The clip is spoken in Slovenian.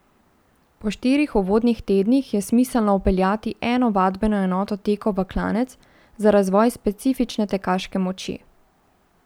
Po štirih uvodnih tednih je smiselno vpeljati eno vadbeno enoto tekov v klanec za razvoj specifične tekaške moči.